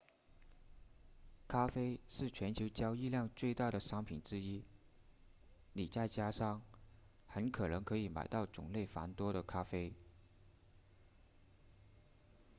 咖啡是全球交易量最大的商品之一你在家乡很可能可以买到种类繁多的咖啡